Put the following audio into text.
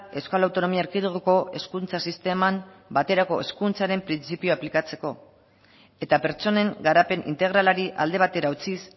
euskal autonomia erkidegoko hezkuntza sisteman baterako hezkuntzaren printzipioa aplikatzeko eta pertsonen garapen integralari alde batera utziz